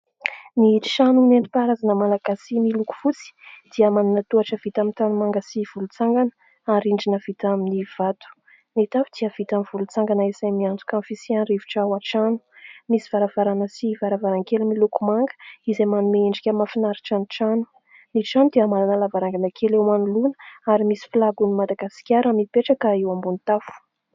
Ny trano nentim-paharazana malagasy miloko fosy ; dia manana tohatra vita amin'ny tanomanga sy volontsangana ary rindrina vita amin'ny vato. Ny tafo dia vita amin'ny volontsangana izay miantoka ny fisian'ny rivotra ao an-trano. Misy varavarana sy varavaran-kely miloko manga izay manome endrika mafinaritra ny trano. Ny trano dia manana lavarangana kely eo manoloana; ary misy filagon'ny madagasikara mipetraka eo ambon'ny tafo.